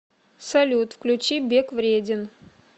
салют включи бег вреден